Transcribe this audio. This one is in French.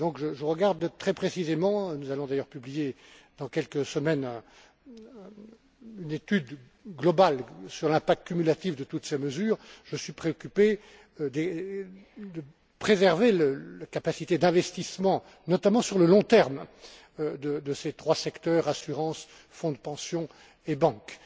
Je regarde donc très précisément nous allons d'ailleurs publier dans quelques semaines une étude globale sur l'impact cumulatif de toutes ces mesures et suis très préoccupé de préserver la capacité d'investissement, notamment sur le long terme, de ces trois secteurs assurances, fonds de pension et banques.